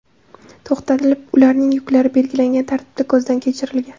to‘xtatilib, ularning yuklari belgilangan tartibda ko‘zdan kechirilgan.